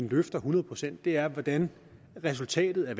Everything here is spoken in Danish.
løfter hundrede procent er hvordan resultatet af